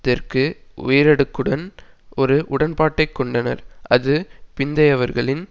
தெற்கு உயரடுக்குடன் ஒரு உடன்பாட்டை கொண்டனர் அது பிந்தையவர்களின்